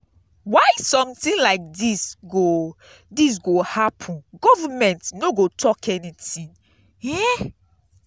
why something like dis go dis go happen government no go talk anything.